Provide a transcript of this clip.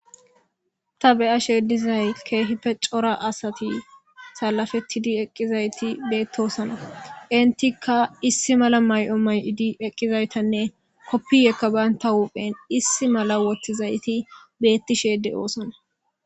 ta be'ashe dizay kehipe cora asati salafettidi eqqizayti beettosona intikka issi mala ma'o ma'odi eqqizaytanne koppiyekka baynta huphen issi mala wotizayti beettishe de'oosona